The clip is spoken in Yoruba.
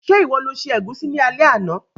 Se ìwo lo se ẹ̀gúsí ni alé àná?